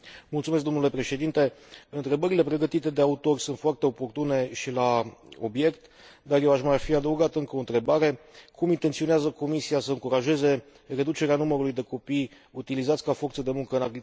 Întrebările pregătite de autori sunt foarte oportune și la obiect, dar eu aș mai fi adăugat încă o întrebare cum intenționează Comisia să încurajeze reducerea numărului de copii utilizați ca forță de muncă în agricultură în cele două state?